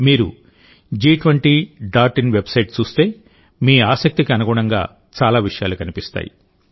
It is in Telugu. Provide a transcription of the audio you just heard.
మీరు జి20 డాట్ ఇన్ వెబ్సైట్ చూస్తే మీ ఆసక్తికి అనుగుణంగా చాలా విషయాలు కనిపిస్తాయి